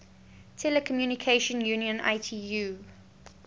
telecommunication union itu